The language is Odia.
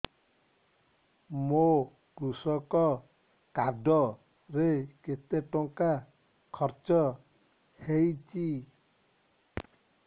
ମୋ କୃଷକ କାର୍ଡ ରେ କେତେ ଟଙ୍କା ଖର୍ଚ୍ଚ ହେଇଚି